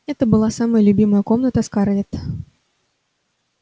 это была самая любимая комната скарлетт